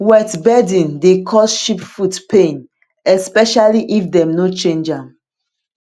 wet bedding dey cause sheep foot pain especially if dem no change am